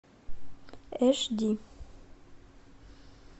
эш ди